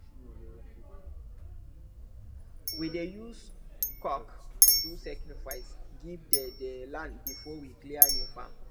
we dey use cock do sacrifice give the the land before we clear new farm